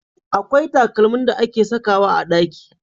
Akwai takalmin da ake sakawa a ɗaki.